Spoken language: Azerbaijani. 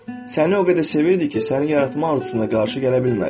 Səni o qədər sevirdi ki, səni yaratmaq arzusuna qarşı gələ bilmədi.